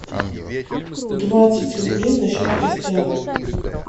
двадцать рублей на счет костяну